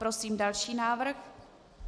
Prosím další návrh.